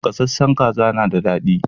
Gasashen kaza na da dadi